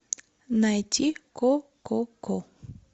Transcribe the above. найти кококо